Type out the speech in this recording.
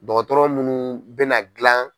Dɔgɔtɔrɔ munnu bɛna na dilan.